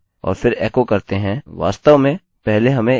वास्तव में पहले हमें इसे वेरिएबल में सेट करने की आवश्यकता है